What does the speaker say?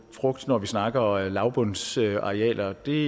frugt når vi snakker lavbundsarealer det